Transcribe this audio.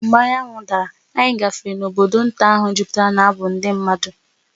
Mgbe anyanwụ dara, anyị gafere n’obodo nta ahụ jupụtara n’abụ ndị mmadụ.